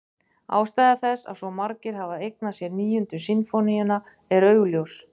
Ástæða þess að svo margir hafa eignað sér Níundu sinfóníuna er augljós.